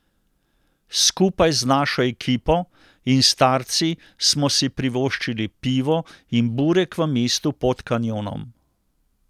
Skupaj z našo ekipo in starci smo si privoščili pivo in burek v mestu pod kanjonom.